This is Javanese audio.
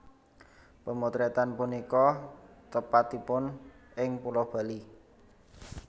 Pemotretan punika tepatipun ing Pulau Bali